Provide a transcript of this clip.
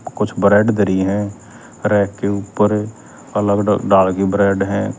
कुछ ब्रेड धरी ह रैक के ऊपर अलग ढ ढाल की ब्रेड ह।